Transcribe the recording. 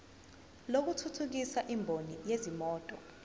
lokuthuthukisa imboni yezimoto